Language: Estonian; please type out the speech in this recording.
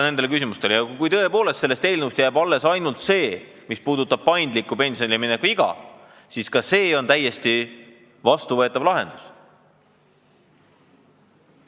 Kui aga sellest eelnõust jääb alles ainult see osa, mis puudutab paindlikku pensionile mineku iga, siis see on täiesti vastuvõetav lahendus.